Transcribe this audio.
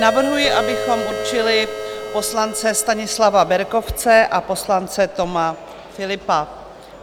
Navrhuji, abychom určili poslance Stanislava Berkovce a poslance Toma Philippa.